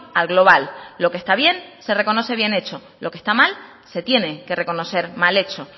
al global lo que está bien se reconoce bien hecho lo que está mal se tiene que reconocer mal hecho